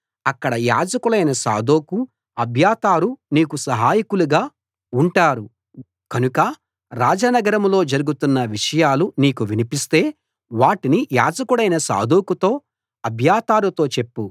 అక్కడ యాజకులైన సాదోకు అబ్యాతారు నీకు సహాయకులుగా ఉంటారు కనుక రాజ నగరంలో జరుగుతున్న విషయాలు నీకు వినిపిస్తే వాటిని యాజకుడైన సాదోకుతో అబ్యాతారుతో చెప్పు